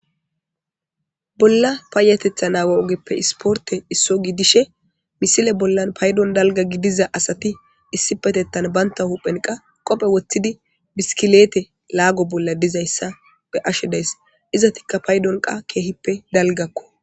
Bolla paayatetha naawa ogeppe isporte isso gidishe misile bollan paydon dalga gidiza asati issipetettan banta huphen qa qophe woththidi biskileete laago bolla dizayssa be ashe dayss izatikka paydon qa keehippe dalgakko.